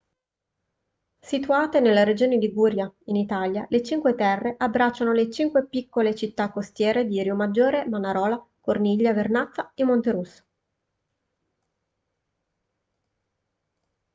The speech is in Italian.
situate nella regione liguria in italia le cinque terre abbracciano le cinque piccole città costiere di riomaggiore manarola corniglia vernazza e monterosso